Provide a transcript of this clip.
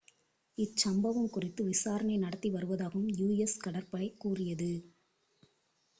இச்சம்பவம் குறித்து விசாரணை நடத்தி வருவதாகவும் us கடற்படை கூறியது